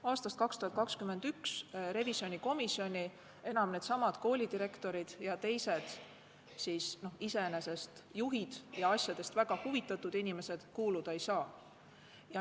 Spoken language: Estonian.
Aastast 2021 needsamad koolidirektorid ja teised asjadest väga huvitatud inimesed enam revisjonikomisjoni kuuluda ei saa.